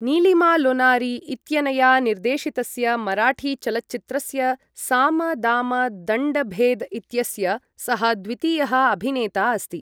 नीलिमा लोनारी इत्यनया निर्देशितस्य मराठी चलच्चित्रस्य साम दाम दण्ड भेद इत्यस्य सः द्वितीयः अभिनेता अस्ति।